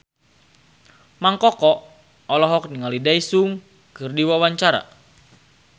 Mang Koko olohok ningali Daesung keur diwawancara